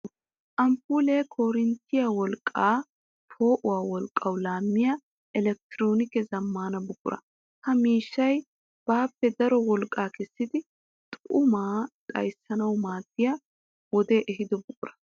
Amppuule korinttiya wolqqa poo'uwa wolqqawu laamiya elekktroonikke zamaana buqura. Ha miishshay baappe daro wolqqa kessiddi xumaa xayssanawu maadiya wode ehiido buqura.